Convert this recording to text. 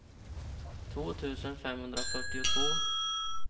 två tusen femhundrafyrtiotvå